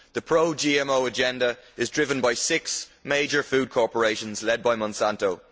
The pro GMO agenda is driven by six major food corporations led by Monsanto.